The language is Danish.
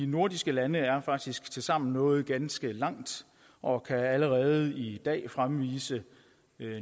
nordiske lande er faktisk tilsammen nået ganske langt og kan allerede i dag fremvise